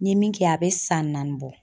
N ye min kɛ a bɛ san naani bɔ.